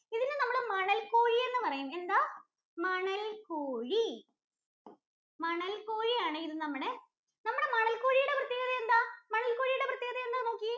ഇതിന് നമ്മൾ മണൽ കോഴി എന്ന് പറയും. എന്താ? മണൽ കോഴി മണൽ കോഴി ആണ് ഇത് നമ്മുടെ മണൽ കോഴിയുടെ പ്രത്യേകത എന്താ? മണല്‍ കോഴിയുടെ പ്രത്യേകത എന്താന്ന് നോക്കിയേ.